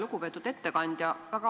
Lugupeetud ettekandja!